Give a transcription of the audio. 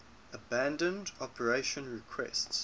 abandon operation requests